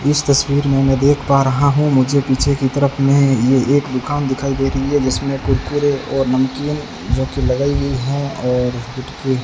इस तस्वीर मैंने देख पा रहा हूं मुझे पीछे की तरफ में ये एक दुकान दिखाई दे रही है जिसमें कुरकुरे और नमकीन जोकि लगाई हुई है और --